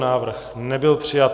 Návrh nebyl přijat.